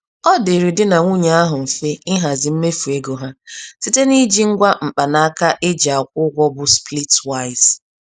Ọdịrị Di na nwunye ahụ mfe ịhazi mmefu ego ha, site n'iji ngwa mkpanaka e ji akwụ ụgwọ bụ splitwise.